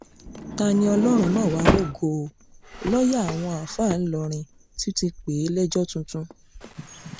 ta-ní-ọlọ́run mà wàá rògo o lọ́ọ̀yà àwọn àáfàá ìlọrin ti tún pè é lẹ́jọ́ tuntun